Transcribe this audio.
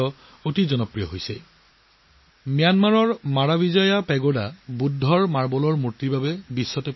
marble বুদ্ধ মূৰ্তিৰ বাবে বিখ্যাত ম্যানমাৰৰ মিৰাভিজিয়া পেগোডা কমপ্লেক্সটো বিশ্ব বিখ্যাত